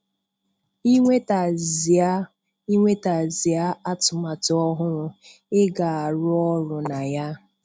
Ị nwetazia Ị nwetazia atụmatụ ọhụrụ ị ga-arụ ọrụ na ya.